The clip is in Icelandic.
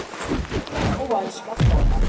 Og hávaðinn skall á henni aftur.